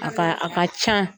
A ka a ka can